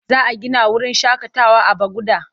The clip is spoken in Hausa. Za a gina wurin shaƙatawa a Bagauda.